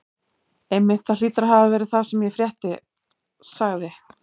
Einmitt, það hlýtur að hafa verið það sem ég frétti sagði